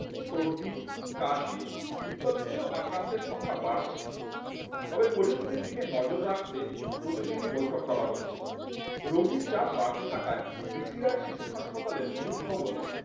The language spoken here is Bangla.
সর্দি কাশি ইত্যাদিতে ও আক্রান্তের সংখ্যা বাড়ছে তবে পরিস্থিতির দিকে নজর রাখতে প্রতিদিনই বৈঠক করা হচ্ছে রোগীর চাপ বাড়তে থাকায় বি সি রায় শিশু হাসপাতালের মূল ভবনে